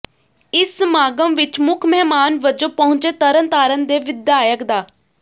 ਇਸ ਸਮਾਗਮ ਵਿਚ ਮੁੱਖ ਮਹਿਮਾਨ ਵਜੋਂ ਪਹੁੰਚੇ ਤਰਨਤਾਰਨ ਦੇ ਵਿਧਾਇਕ ਡਾ